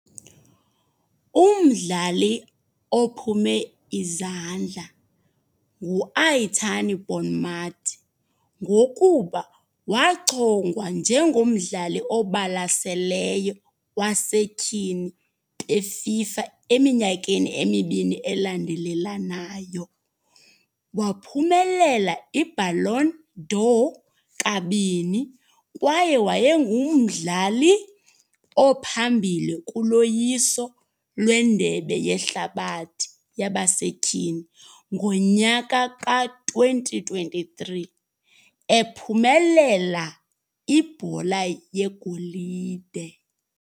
Umdlali ophume izandla nguAitana Bonmatí. Ngokuba waachongwa njengomdlali obalaseleyo wasetyhini beFIFA eminyakeni emibini elandelelanayo. Waphumelela iBallon d'Or kabini, kwaye wayengumdlali ophambili kuloyiso lwendebe yehlabathi yabasetyhini ngonyaka ka-twenty twenty-three, ephumelela ibhola yegolide.